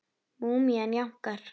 Múmían jánkar.